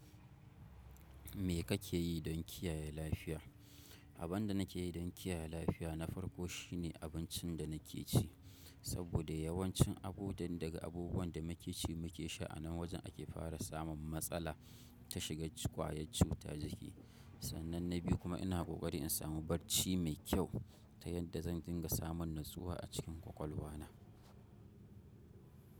Me kake yi don kiyaye lafiya? Abin da nake yi don kiyaye lafiya, na farko shi ne abincin da nake ci, saboda yawancin abudan daga abubuwan da muke ci muke sha anan wajen ake fara samun matsala ta shiga ƙwayar cuta jiki. Sannan na biyu kuma ina kokari in samu barci mai kyau ta yadda zan dinga samun natsuwa a cikin ƙwaƙwalwa na.